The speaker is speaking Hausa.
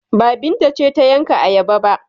Ba, Binta ce ta yanka ayaba ba?